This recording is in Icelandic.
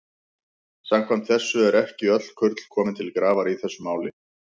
Samkvæmt þessu eru ekki öll kurl komin til grafar í þessu máli.